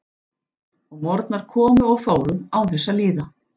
Og morgnar komu og fóru án þess að líða.